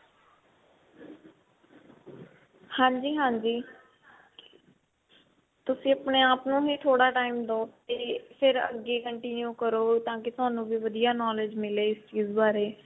ਹਾਂਜੀ ਹਾਂਜੀ ਤੁਸੀਂ ਆਪਨੇ ਆਪ ਨੂੰ ਵੀ ਥੋੜਾ time ਦੋ ਫੇਰ ਅੱਗੇ continue ਕਰੋ ਤਾਕਿ ਤੁਹਾਨੂੰ ਵੀ ਵਧੀਆਂ knowledge ਮਿਲੇ ਇਸ ਬਾਰੇ